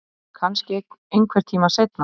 Kannski einhvern tíma seinna